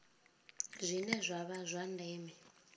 zwine zwa vha zwa ndeme